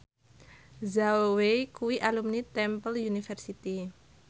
Zhao Wei kuwi alumni Temple University